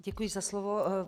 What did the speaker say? Děkuji za slovo.